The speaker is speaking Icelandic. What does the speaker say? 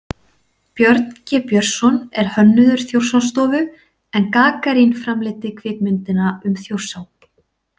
Björn G Björnsson er hönnuður Þjórsárstofu, en Gagarín framleiddi kvikmyndina um Þjórsá.